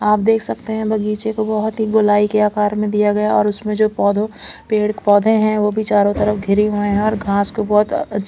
आप देख सकते हैं बगीचे को बहुत ही गोलाई के आकार में दिया गया है और उसमें जो पौधों पेड़ पोधे है वो भी चारो तरफ गिरे हुई हैं और घास को बहुत--